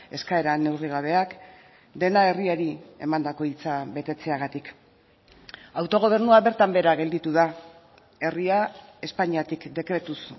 eskaera neurrigabeak dena herriari emandako hitza betetzeagatik autogobernua bertan behera gelditu da herria espainiatik dekretuz